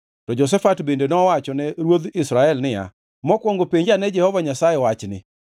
To Jehoshafat bende nowachone ruodh Israel niya, “Mokwongo penj ane Jehova Nyasaye wachni.”